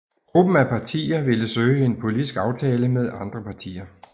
Gruppen af partier ville søge en politisk aftale med andre partier